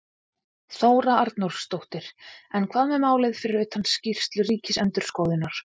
Þóra Arnórsdóttir: En hvað með málið fyrir utan skýrslu ríkisendurskoðunar?